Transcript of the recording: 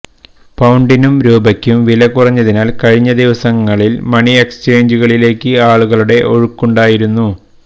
പൌണ്ടിനും രൂപക്കും വില കുറഞ്ഞതിനാല് കഴിഞ്ഞ ദിവസങ്ങളില് മണി എക്സ്ചേഞ്ചുകളിലേക്ക് ആളുകളുടെ ഒഴുക്കുണ്ടായിരുന്നു